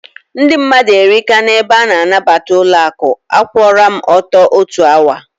Ndị mmadụ erika na ebe nabata ụlọaku, a kwụọra m ọtọ otu awa